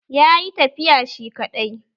Ya yi tafiya shi kaɗai